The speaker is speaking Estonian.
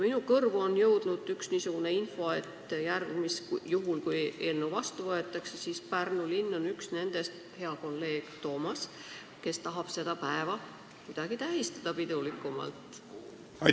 Minu kõrvu on jõudnud niisugune info, et juhul kui eelnõu vastu võetakse, siis Pärnu linn, hea kolleeg Toomas, on üks nendest, kes tahab seda päeva kuidagi pidulikumalt tähistada.